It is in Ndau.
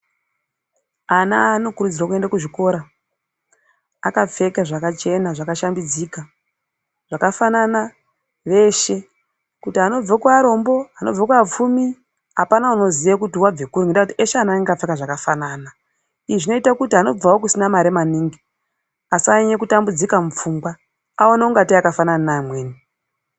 Ana anokurudzirwa kuenda kuzvikora akapfeka zvakachena zvakashambidzika zvakafanana veshe kuti anobva kuarombo, anonobva kuapfumi apana anoziya kuti uyu wabve kuri ngekuti eshe ana anenge akapfeka zvakafanana izvi zvinoita kuti anobvawo kusina mare maningi asanyanye kutambudzika mupfungwa aone ingatei akafanana neamweni.